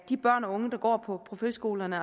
de børn og unge der går på friskolerne